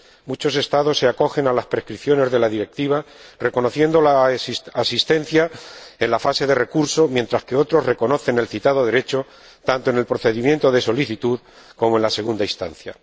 Muchos Estados se acogen a las prescripciones de la Directiva, reconociendo la asistencia en la fase de recurso, mientras que otros reconocen el citado derecho tanto en el procedimiento de solicitud como en la segunda instancia.